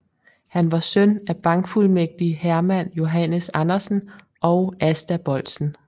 Han var søn af bankfuldmægtig Herman Johannes Andersen og Asta Boldsen